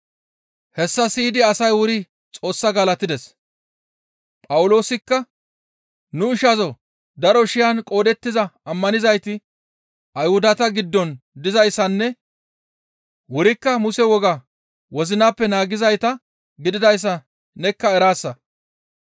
Hessa siyidi asay wuri Xoos galatides; Phawuloosikka, «Nu ishazoo daro shiyan qoodettiza ammanizayti Ayhudata giddon dizayssanne wurikka Muse wogaa wozinappe naagizayta gididayssa nekka eraasa.